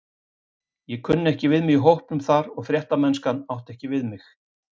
Ég kunni ekki við mig í hópnum þar og fréttamennskan átti ekki við mig.